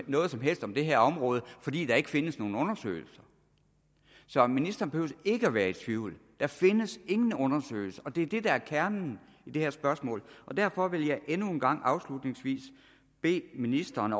noget som helst om det her område fordi der ikke findes nogen undersøgelser så ministeren behøver ikke at være i tvivl der findes ingen undersøgelser og det er det der er kernen i det her spørgsmål derfor vil jeg endnu en gang og afslutningsvis bede ministeren